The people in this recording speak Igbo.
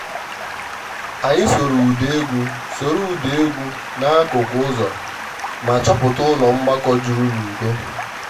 anyị sooro ụda egwu sooro ụda egwu n`akụkụ ụzọ ma chọpụta ụlọ mgbakọ juru n`udo